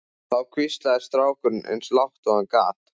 Þá hvíslaði strákurinn eins og lágt og hann gat